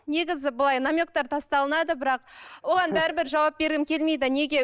негізі былай намектар тасталынады бірақ оған бәрібір жауап бергім келмейді неге